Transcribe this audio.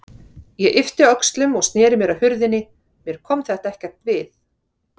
Ég yppti öxlum og sneri mér að hurðinni, mér kom þetta ekkert við.